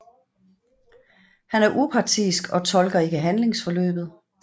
Han er upartisk og tolker ikke handlingsforløbet